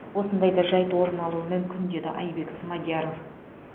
осындай да жайт орын алуы мүмкін деді айбек смадияров